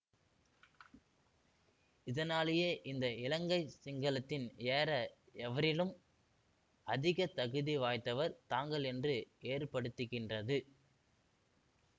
இதனாலேயே இந்த இலங்கை சிங்கதனத்தில் ஏற எவரிலும் அதிக தகுதிவாய்த்தவர் தாங்கள் என்று ஏற்படுத்துகின்றது